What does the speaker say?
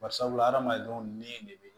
Bari sabula adamadenw ni de bɛ